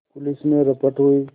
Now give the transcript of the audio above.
police में रपट हुई